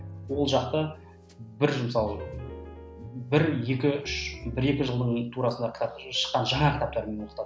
ол жақта бір жыл мысалы бір екі үш бір екі жылдың турасында кітап шыққан жаңа кітаптармен оқытады